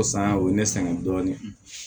O san o ye ne sɛgɛn dɔɔnin